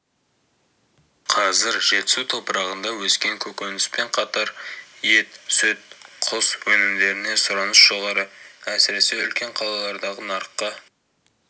қазір жетісу топырағында өскен көкөніспен қатар ет сүт құс өнімдеріне сұраныс жоғары әсіресе үлкен қалалардағы нарыққа